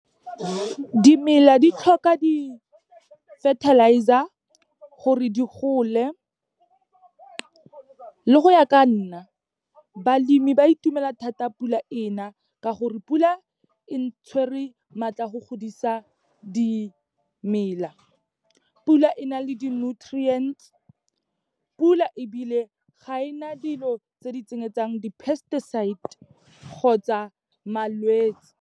Dimela di tlhoka di-fertilizer gore di gole. Le go ya ka nna, balemi ba itumela thata pula ena, ka gore pula e tshwerwe maatla a go godisa dimela. Pula e na le di-nutriants, pula ebile ga e na dilo tse di tsenyetsang di-pesticides kgotsa malwetsi.